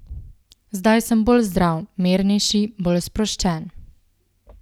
Zdaj sem bolj zdrav, mirnejši, bolj sproščen.